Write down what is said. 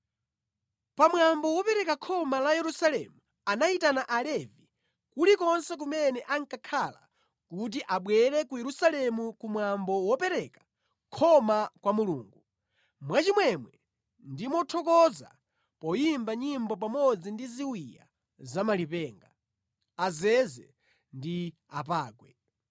Pa mwambo wopereka khoma la Yerusalemu anayitana Alevi kulikonse kumene ankakhala kuti abwere ku Yerusalemu ku mwambo wopereka khoma kwa Mulungu, mwachimwemwe ndi mothokoza poyimba nyimbo pamodzi ndi ziwiya za malipenga, azeze ndi apangwe.